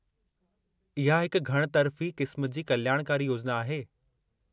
इहा हिकु घणितरफ़ी क़िस्म जी कल्याणकारी योजना आहे।